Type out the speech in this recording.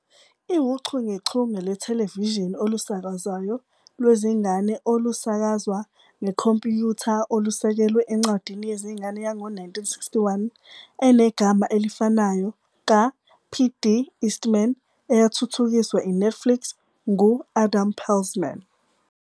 iwuchungechunge lwethelevishini olusakazwayo lwezingane olusakazwa ngekhompyutha olusekelwe encwadini yezingane yango-1961 enegama elifanayo ka-P. D. Eastman, eyathuthukiswa i-Netflix ngu-Adam Peltzman.